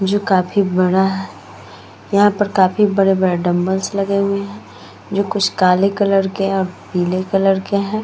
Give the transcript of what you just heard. जो काफी बड़ा है। यहाँ पर काफी बड़े-बड़े डंबल्स लगे हुए हैं जो कुछ काले कलर के हैं और पीले कलर के हैं।